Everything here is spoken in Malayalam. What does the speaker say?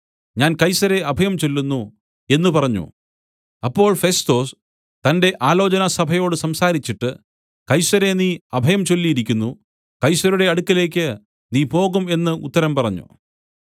ഞാൻ കൈസരെ അഭയംചൊല്ലുന്നു എന്നു പറഞ്ഞു അപ്പോൾ ഫെസ്തൊസ് തന്റെ ആലോചനാസഭയോട് സംസാരിച്ചിട്ട് കൈസരെ നീ അഭയം ചൊല്ലിയിരിക്കുന്നു കൈസരുടെ അടുക്കലേക്ക് നീ പോകും എന്ന് ഉത്തരം പറഞ്ഞു